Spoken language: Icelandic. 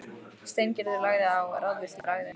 Steingerður lagði á, ráðvillt í bragði.